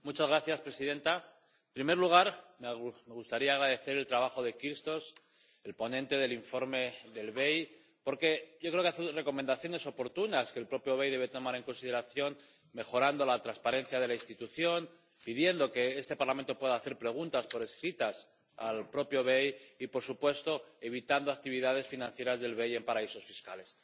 Señora presidenta, en primer lugar me gustaría agradecer el trabajo del señor Kyrtsos, el ponente sobre el informe del BEI, porque yo creo que hace dos recomendaciones oportunas que el propio BEI debe tomar en consideración mejorar la transparencia de la institución —pidiendo que este Parlamento pueda hacer preguntas escritas al propio BEI— y, por supuesto, evitar actividades financieras del BEI en paraísos fiscales.